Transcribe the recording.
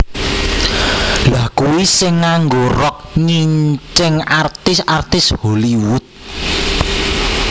Lha kui sing nganggo rok nyincing artis artis Hollywood